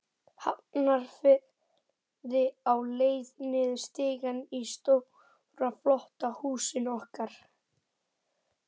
Hafnarfirði, á leið niður stiga í stóra, flotta húsinu okkar.